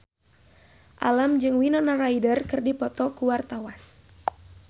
Alam jeung Winona Ryder keur dipoto ku wartawan